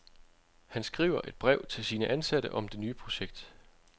Han skriver et brev til sine ansatte om det nye projekt.